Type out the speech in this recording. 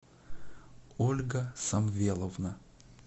ольга самвеловна